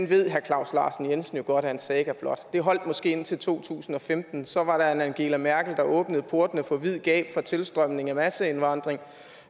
ved herre claus larsen jensen jo godt er en saga blot det holdt måske indtil to tusind og femten så var der en angela merkel der åbnede portene på vid gab for tilstrømning og masseindvandring